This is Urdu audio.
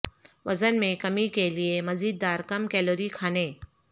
وزن میں کمی کے لئے مزیدار کم کیلوری کھانے